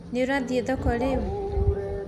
Nĩũrathiĩ thoko rĩu?